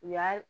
U y'a